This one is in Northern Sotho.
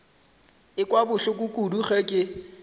ekwa bohloko kudu ge ke